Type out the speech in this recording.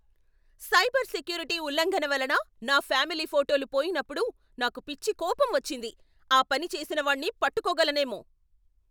Cyber security ఉల్లంఘన వలన నా ఫ్యామిలీ ఫోటోలు పోయినప్పుడు నాకు పిచ్చి కోపం వచ్చింది, ఆ పని చేసినవాణ్ణి పట్టుకోగలనేమో.